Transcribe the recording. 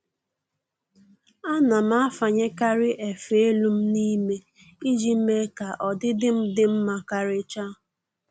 Ana m afanyekarị efe elu m n'ime iji mee ka ọdịdị m dị mma karịcha